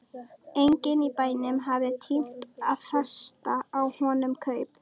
Enginn í bænum hafði tímt að festa á honum kaup.